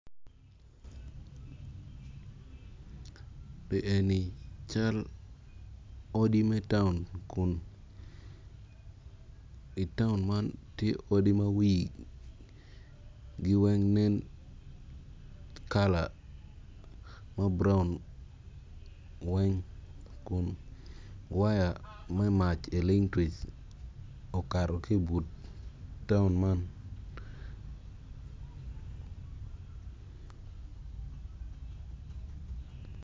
Li eni cal odi me taun kun i taun man ti odi ma wigi weng kala ma buraun weng kun waya me mac elingtwic okato ki ibut taun man